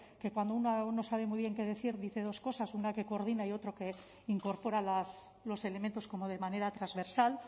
que cuando uno no sabe muy bien qué decir dice dos cosas una que coordina y otra que incorpora los elementos como de manera transversal